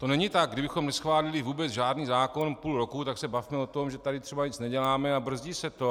To není tak - kdybychom neschválili vůbec žádný zákon půl roku, tak se bavme o tom, že tady třeba nic neděláme a brzdí se to.